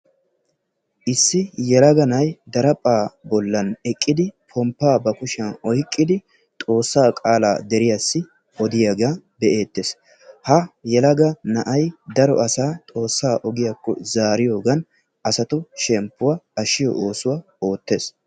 Issi yelaga na'ay daraphphaa bollan eqqidi ponppaa ba kushshiyan oyqqidi xoossaa qaalaa deriyassi odiyaaga be'eettees. Ha yelaga na'ay daro asaa xoossaa ogiyaakko zaariyaagan asatu shemppuwa ashiyo oosuwa oottees.